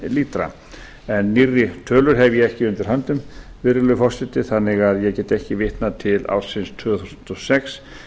lítra en nýrri tölur hef ég ekki undir höndum virðulegi forseti þannig að ég get ekki vitnað til ársins tvö þúsund og sex